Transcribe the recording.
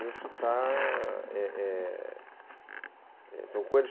Isso está... É, é, são coisas...